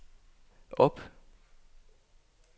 op